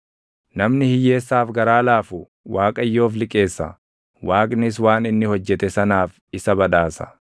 Namni hiyyeessaaf garaa laafu Waaqayyoof liqeessa; Waaqnis waan inni hojjete sanaaf isa badhaasa.